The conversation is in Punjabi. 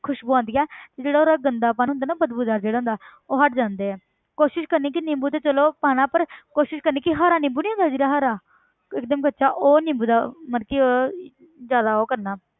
ਖ਼ੁਸਬੂ ਆਉਂਦੀ ਹੈ ਤੇ ਉਹਦਾ ਗੰਦਾਪਨ ਜਿਹੜਾ ਹੁੰਦਾ ਨਾ ਬਦਬੂਦਾਰ ਜਿਹੜਾ ਹੁੰਦਾ ਉਹ ਹਟ ਜਾਂਦੇ ਹੈ ਕੋਸ਼ਿਸ਼ ਕਰਨੀ ਕਿ ਨਿੰਬੂ ਤੇ ਚਲੋ ਪਾਉਣਾ ਪਰ ਕੋਸ਼ਿਸ਼ ਕਰਨੀ ਕਿ ਹਰਾ ਨਿੰਬੂ ਨੀ ਹੁੰਦਾ ਜਿਹੜਾ ਹਰਾ ਕਿ ਇੱਕ ਦਮ ਕੱਚਾ ਉਹ ਨਿੰਬੂ ਦਾ ਮਤਲਬ ਕਿ ਉਹਦਾ ਜ਼ਿਆਦਾ ਉਹ ਕਰਨਾ